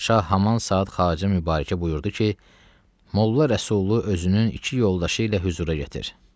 Şah haman saat Xacə Mübarəkə buyurdu ki, Molla Rəsulu özünün iki yoldaşı ilə hüzura gətir.